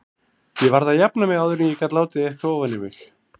Ég varð að jafna mig áður en ég gat látið eitthvað ofan í mig.